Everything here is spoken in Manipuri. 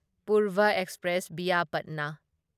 Purva express via Patna